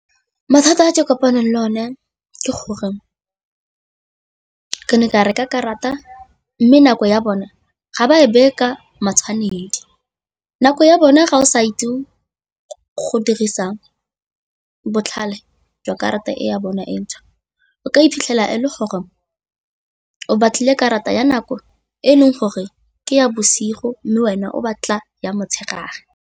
Mathata a ke kopanang le one ke gore ka reka karata mme nako ya bona ga ba e bereka matshwanedi. Nako ya bona ga o sa ditau go dirisang botlhale jwa karata e ya bona e ntšhwa o ka iphitlhela e le gore o batlile karata ya nako e e leng gore ke ya bosigo mme wena o batla ya motshegare.